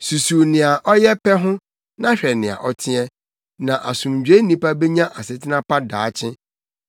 Susuw nea ɔyɛ pɛ ho, na hwɛ nea ɔteɛ; na asomdwoe nipa benya asetena pa daakye.